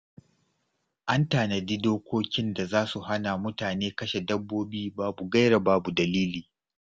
An tanadi dokokin da za su hana mutane kashe dabbobi babu gaira babu dalili.